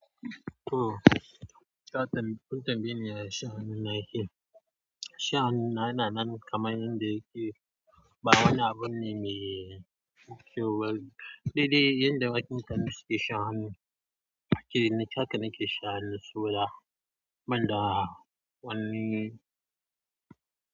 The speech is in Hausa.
Oh ta tamba kun tambayeni yaya sha'ani na yake sha'anina yana nan kaman yanda yake, ba wani abun ne me kyau ba. Daidai yanda wasu mutane suke sha'ani, ke ni haka nake sha'ani su da, ban da wanni.